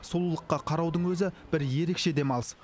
сұлулыққа қараудың өзі бір ерекше демалыс